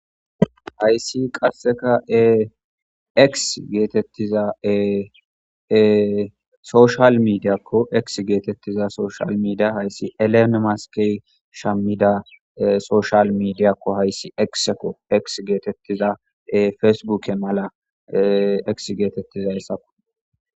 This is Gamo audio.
hayssi qasseka e geetettizaee soshal midiyakko ek geetettiza soshal midia hayssi elene maskey shammida soshal midiyakko hayssi ekseko ek geetettiza fesbuke mala ek geetettiza hessako